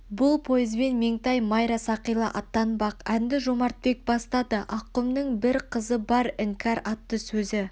бұл поезбен меңтай майра сақила аттанбақ әнді жомартбек бастады аққұмның бір қызы бар іңкәр атты сөзі